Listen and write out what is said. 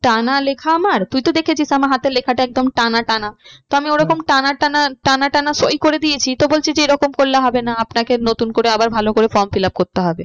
টানা লেখা আমার তুই তো দেখেছিস আমার হাতে লেখাটা একদম টানা টানা তো আমি ওরকম টানা টানা, টানা টানা সই করে দিয়েছি তো বলছে যে এরকম করলে হবে না। আপনাকে নতুন করে আবার ভালো করে form fill up করতে হবে।